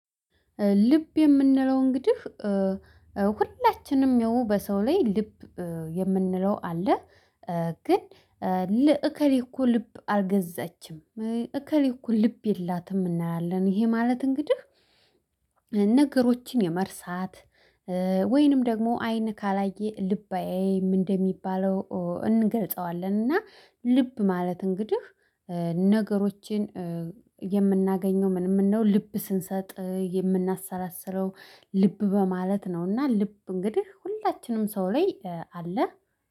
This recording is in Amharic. ልብ የምንለው እንግዲህ ሁላችንም የሆኑ በሰው ላይ ልብ የምንለው አለ። ግን ለእከሌ እኮ ልብ አልገዛችም። እከሌ እኮ ልብ የላትም። እናያለን ይሄ ማለት እንግዲህ ነገሮችን የመርሳት ወይንም ደግሞ አይን ካላየ ልብ አያይ እንደሚባለው እንገልጸዋለን። እና ልብ ማለት እንግዲህ ነገሮችን የምናገኘው ምንም እንደው ልብ ስንሰጥ የምናሰላስለው ልብ በማለት ነው እና ልብ እንግዲህ ሁላችንም ሰው ላይ አለ።